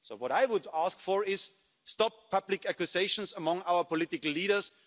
So what I would ask for is an end to public accusations among our political leaders.